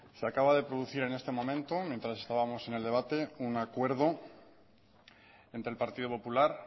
se acaba de producir en este momento mientras estábamos en el debate un acuerdo entre el partido popular